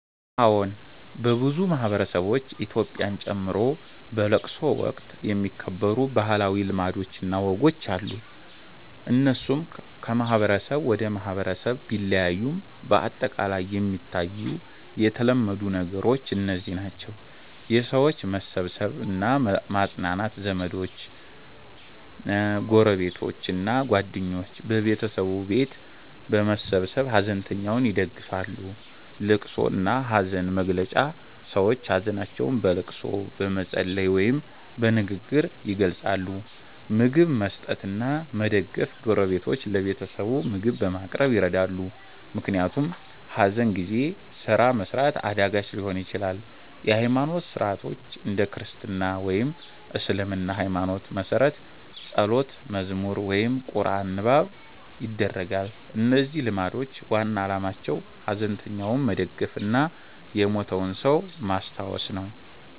አዎን፣ በብዙ ማህበረሰቦች (ኢትዮጵያን ጨምሮ) በለቅሶ ወቅት የሚከበሩ ባህላዊ ልማዶች እና ወጎች አሉ። እነሱ ከማህበረሰብ ወደ ማህበረሰብ ቢለያዩም በአጠቃላይ የሚታዩ የተለመዱ ነገሮች እነዚህ ናቸው፦ የሰዎች መሰብሰብ እና ማጽናናት ዘመዶች፣ ጎረቤቶች እና ጓደኞች በቤተሰቡ ቤት በመሰብሰብ ሐዘንተኛውን ይደግፋሉ። ልቅሶ እና ሐዘን መግለጫ ሰዎች ሀዘናቸውን በልቅሶ፣ በመጸለይ ወይም በንግግር ይገልጻሉ። ምግብ መስጠት እና መደገፍ ጎረቤቶች ለቤተሰቡ ምግብ በማቅረብ ይረዳሉ፣ ምክንያቱም ሐዘን ጊዜ ስራ መስራት አዳጋች ሊሆን ይችላል። የሃይማኖት ሥርዓቶች እንደ ክርስትና ወይም እስልምና ሃይማኖት መሠረት ጸሎት፣ መዝሙር ወይም ቁርአን ንባብ ይደረጋል። እነዚህ ልማዶች ዋና ዓላማቸው ሐዘንተኛውን መደገፍ እና የሞተውን ሰው ማስታወስ ነው።